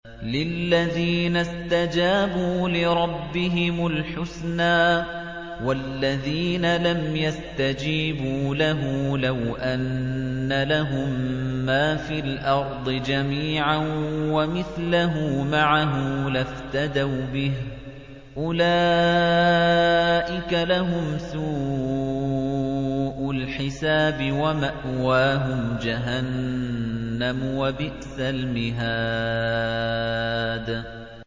لِلَّذِينَ اسْتَجَابُوا لِرَبِّهِمُ الْحُسْنَىٰ ۚ وَالَّذِينَ لَمْ يَسْتَجِيبُوا لَهُ لَوْ أَنَّ لَهُم مَّا فِي الْأَرْضِ جَمِيعًا وَمِثْلَهُ مَعَهُ لَافْتَدَوْا بِهِ ۚ أُولَٰئِكَ لَهُمْ سُوءُ الْحِسَابِ وَمَأْوَاهُمْ جَهَنَّمُ ۖ وَبِئْسَ الْمِهَادُ